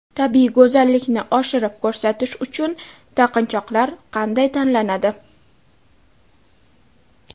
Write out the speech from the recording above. Tabiiy go‘zallikni oshirib ko‘rsatish uchun taqinchoqlar qanday tanlanadi?